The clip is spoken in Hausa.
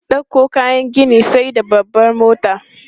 Ɗauko kayan gini sai da babbar mota.